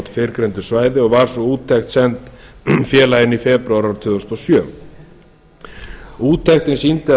fyrrgreindu svæði og var sú úttekt send félaginu í febrúar árið tvö þúsund og sjö úttektin sýndi að